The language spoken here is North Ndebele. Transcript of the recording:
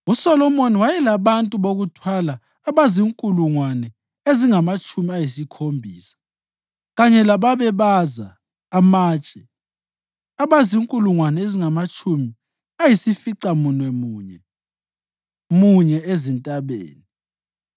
USolomoni wayelabantu bokuthwala abazinkulungwane ezingamatshumi ayisikhombisa kanye lababebaza amatshe abazinkulungwane ezingamatshumi ayisificamunwemunye munye ezintabeni,